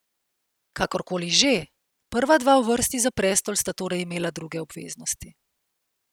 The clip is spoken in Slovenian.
Kakorkoli že, prva dva v vrsti za prestol sta torej imela druge obveznosti.